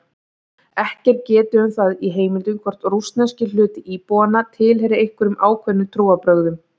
Ekki er getið um það í heimildum hvort rússneski hluti íbúanna tilheyrir einhverjum ákveðnum trúarbrögðum.